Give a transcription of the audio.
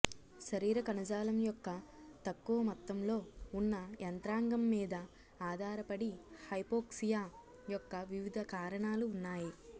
శరీర కణజాలం యొక్క తక్కువ మొత్తంలో ఉన్న యంత్రాంగం మీద ఆధారపడి హైపోక్సియా యొక్క వివిధ కారణాలు ఉన్నాయి